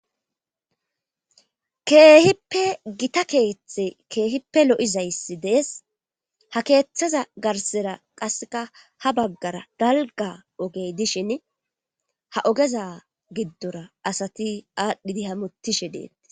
keehippe gita keeththe keehippe lo'izayssi dees ha keeththaza garsera qasseka ha baggara dalga ogey dishin ha ogeza giddora asati aadhdhidi hamutishe deettis